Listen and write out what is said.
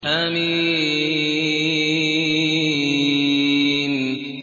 حم